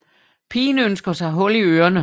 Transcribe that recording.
Pigen ønsker sig hul i ørene